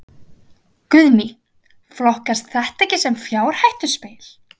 Guðný: Flokkast þetta ekki sem fjárhættuspil?